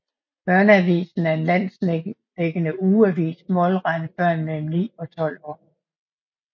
Børneavisen er en landsdækkende ugeavis målrettet børn mellem 9 og 12 år